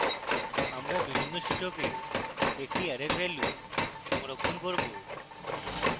আমরা বিভিন্ন সূচকে একটি অ্যারের ভ্যালু সংরক্ষণ করব